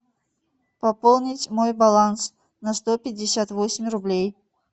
пополнить мой баланс на сто пятьдесят восемь рублей